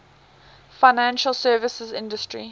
financial services industry